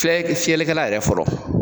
Filɛ ke fiyɛlikɛla yɛrɛ fɔlɔ.